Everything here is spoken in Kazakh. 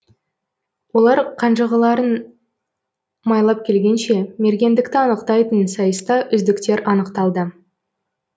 олар қанжығаларын майлап келгенше мергендікті анықтайтын сайыста үздіктер анықталды